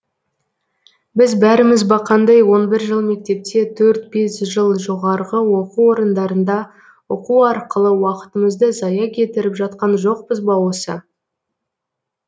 біз бәріміз бақандай он бір жыл мектепте төрт бес жыл жоғарғы оқу орындарында оқу арқылы уақытымызды зая кетіріп жатқан жоқпыз ба осы